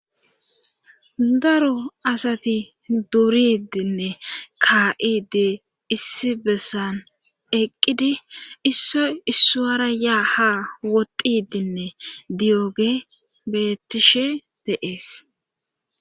daro asati duuridinne ka7idi issi bessan eqqidi isso issuwara yaa ha woxidinne diyoge beettishe de7ees